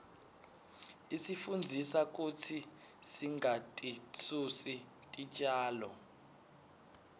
isifundzisa kutsi singatisusi titjalo